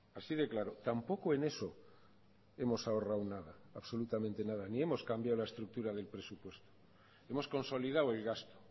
así de claro tampoco en eso hemos ahorrado nada absolutamente nada ni hemos cambiado la estructura del presupuesto hemos consolidado el gasto